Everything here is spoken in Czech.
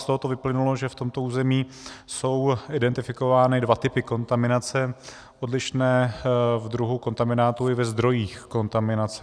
Z toho vyplynulo, že v tomto území jsou identifikovány dva typy kontaminace, odlišné v druhu kontaminátu i ve zdrojích kontaminace.